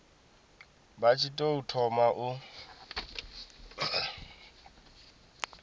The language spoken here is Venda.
vha tshi tou thoma u